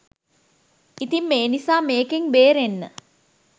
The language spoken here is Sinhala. ඉතින් මේ නිසා මේකෙන් බේරෙන්න